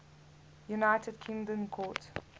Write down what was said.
united kingdom court